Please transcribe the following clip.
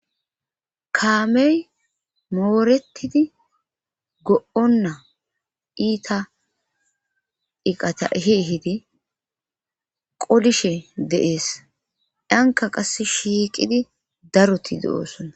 kaamey moorettidi go7onna iita iqata hi hidi qolishe deees anka qass shiiqidi daroti do7oosonna